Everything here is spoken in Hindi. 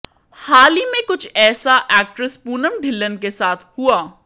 हाल ही में कुछ ऐसा एक्ट्रेस पूनम ढिल्लन के साथ हुआ